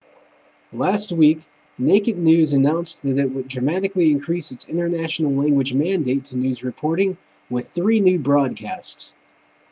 last week naked news announced that it would dramatically increase its international language mandate to news reporting with three new broadcasts